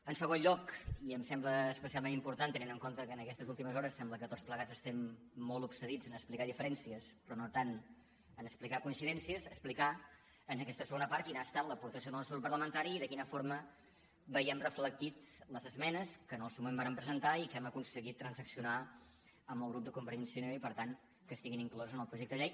en segon lloc i em sembla especialment important tenint en compte que aquestes últimes hores sembla que tots plegats estem molt obsedits a explicar diferèn cies però no tant a explicar coincidències explicar en aquesta segona part quina ha estat l’aportació del nostre grup parlamentari i de quina forma veiem reflectides les esmenes que en el seu moment vàrem presentar i que hem aconseguit transaccionar amb el grup de convergència i unió i per tant que estiguin incloses en el projecte de llei